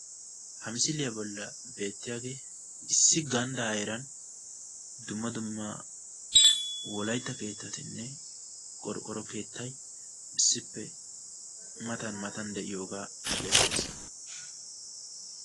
Ha misiliyaa bolli beettiyaagee issi ganddaa heeran dumma dumma wolaytta keettatinne qoroqqoro keettay issippe matan matan de'iyoogaa bessees.